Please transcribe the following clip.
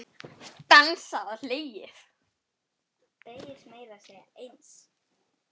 Dansað og hlegið.